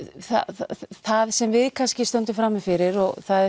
það sem við kannski stöndum frammi fyrir það er